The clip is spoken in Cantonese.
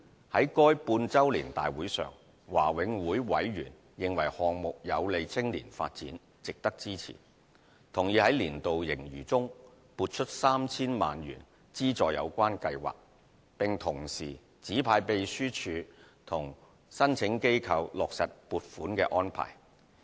在該半周年大會上，華永會委員認為項目有利青年發展，值得支持，同意在年度盈餘中撥出 3,000 萬元資助有關計劃，並同時指派秘書處與申請機構落實撥款安排。